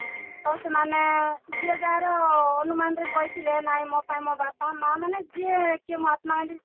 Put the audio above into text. ତ ସେମାନେ ଯିଏ ଯାହାର ଅନୁମାନର କହିଥିଲେ ନାଇଁ ମୋ ପାଇଁ ମୋ ବାପା ମାଆ ମାନେ ଯିଏ କିଏ ମହାତ୍ମା ଗାନ୍ଧୀ